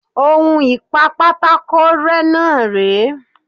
On ìpa pátákó rẹ́ náà rèé.